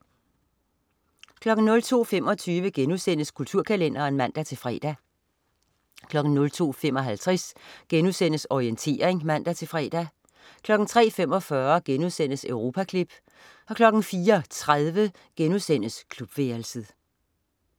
02.25 Kulturkalenderen* (man-fre) 02.55 Orientering* (man-fre) 03.45 Europaklip* 04.30 Klubværelset*